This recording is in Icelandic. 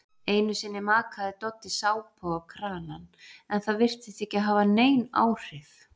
Einusinni makaði Doddi sápu á kranann en það virtist ekki hafa nein áhrif.